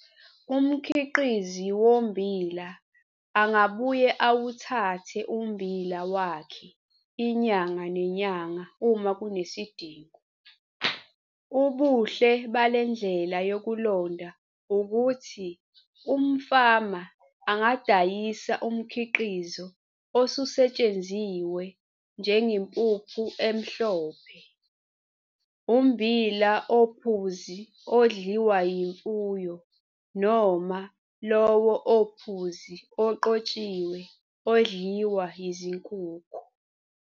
Umkhiqizi wommbila angabuye awuthathe ummbila wakhe inyanga nenyanga uma kunesidingo. Ubuhle bale ndlela yokulonda ukuthi umfama angadayisa umkhiqizo osusetshenziwe njengempuphu emhlophe, ummbila ophuzi odliwa yimfuyo noma lowo ophuzi oqotshiwe odliwa yizinkukhu.